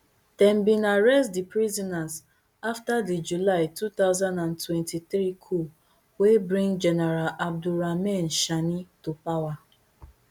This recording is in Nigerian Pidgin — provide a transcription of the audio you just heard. dem bin arrest di prisoners afta di july two thousand and twenty-three coup wey bring general abdourahamane tchiani to power